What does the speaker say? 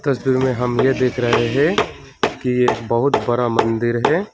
तस्वीर में हम यह देख रहे हैं कि यह बहुत बड़ा मंदिर है।